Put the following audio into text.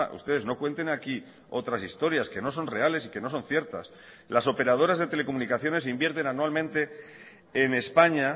ustedes no cuenten aquí otras historias que no son reales y que no son ciertas las operadoras de telecomunicaciones invierten anualmente en españa